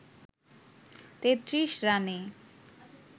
৩৩ রানে